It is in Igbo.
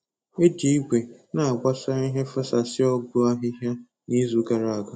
E ji igwe na-agbasa ihe fesasịa ọgwụ ahịhịa n'izu gara aga.